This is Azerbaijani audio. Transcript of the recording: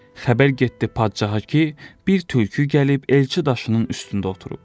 Xəbər getdi padşaha ki, bir tülkü gəlib elçi daşının üstündə oturub.